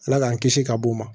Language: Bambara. Ala k'an kisi ka bɔ o ma